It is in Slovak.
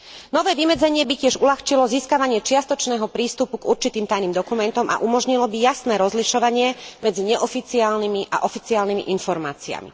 Nové vymedzenie by tiež uľahčilo získavanie čiastočného prístupu k určitým tajným dokumentom a umožnilo by jasné rozlišovanie medzi neoficiálnymi a oficiálnymi informáciami.